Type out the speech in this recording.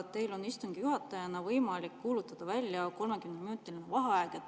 Teil on istungi juhatajana võimalik kuulutada välja 30-minutiline vaheaeg.